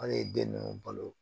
An ye den ninnu balo